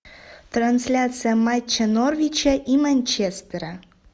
трансляция матча норвича и манчестера